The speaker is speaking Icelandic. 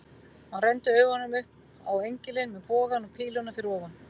Hann renndi augunum upp á engilinn með bogann og píluna fyrir ofan.